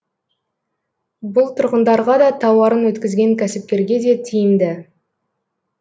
бұл тұрғындарға да тауарын өткізген кәсіпкерге де тиімді